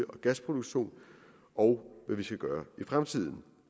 og gasproduktion og hvad vi skal gøre i fremtiden